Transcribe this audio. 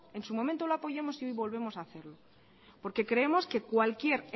en su momento lo apoyamos y hoy volvemos a hacerlo porque creemos que cualquier